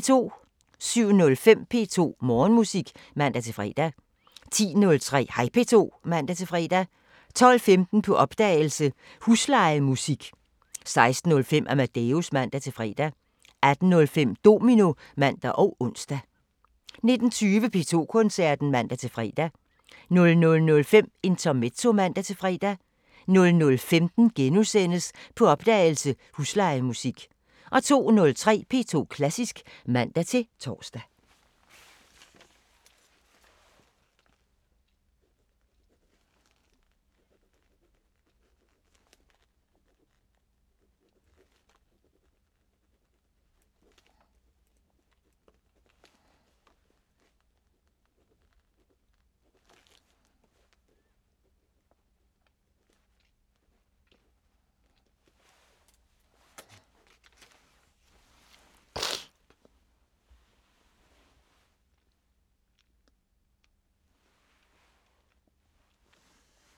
07:05: P2 Morgenmusik (man-fre) 10:03: Hej P2 (man-fre) 12:15: På opdagelse – Huslejemusik 16:05: Amadeus (man-fre) 18:05: Domino (man og ons) 19:20: P2 Koncerten (man-fre) 00:05: Intermezzo (man-fre) 00:15: På opdagelse – Huslejemusik * 02:03: P2 Klassisk (man-tor)